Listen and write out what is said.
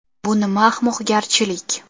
Bu nima ahmoqgarchilik?